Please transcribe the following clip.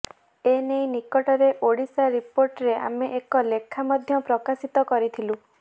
ଏ ନେଇ ନିକଟରେ ଓଡ଼ିଶା ରିପୋର୍ଟରରେ ଆମେ ଏକ ଲେଖା ମଧ୍ୟ ପ୍ରକାଶିତ କରିଥିଲୁ